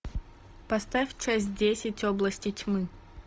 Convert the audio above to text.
поставь часть десять области тьмы